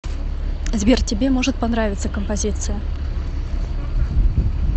сбер тебе может понравиться композиция